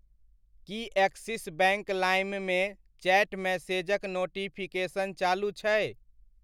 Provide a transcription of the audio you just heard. की Axis bank लाइममे chat मैसेजक notification चालू छै?